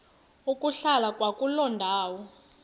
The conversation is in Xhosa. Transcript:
ukuhlala kwakuloo ndawo